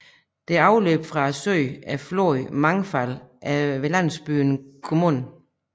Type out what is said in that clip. Det afløb fra søen er floden Mangfall ved landsbyen Gmund